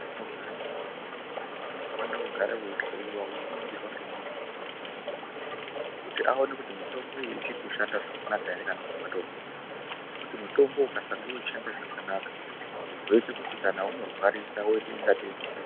Kunogara mutombo unofana kugara weihloyiwa weiningirwa ngemuntu unoziya zvemutombo kuti aone kuti mutombo uyu uchirikushanda zvakanaka ere kana kuti watovhunda ngekuti mutombo ukasange uchishanda zvakanaka unozoite kuti kana unorwarisa woita kungatei muche